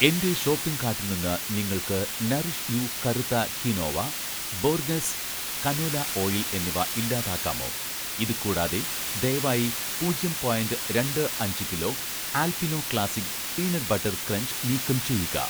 എന്‍റെ ഷോപ്പിംഗ് കാട്ടിൽ നിന്ന് നിങ്ങൾക്ക് 'നറിഷ് യൂ' കറുത്ത ക്വിനോവ, 'ബോർഗസ്' കനോല ഓയിൽ എന്നിവ ഇല്ലാതാക്കാമോ ഇത് കൂടാതെ, ദയവായി പൂജ്യം പോയിന്റ് രണ്ട് അഞ്ച് kilo 'Alpino classic' peanut butter crunch നീക്കം ചെയ്യുക.